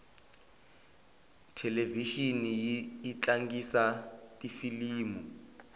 thelevixini yi tlangisa tifilimu